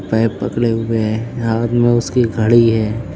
Pipe पकड़े हुए हैं हाथ में उसकी घड़ी है।